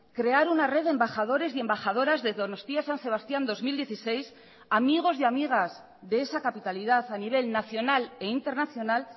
crear una red de embajadores y embajadoras de donostia san sebastián dos mil dieciséis amigos y amigas de esa capitalidad a nivel nacional e internacional